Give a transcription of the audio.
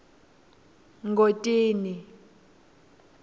ngodini